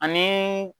Ani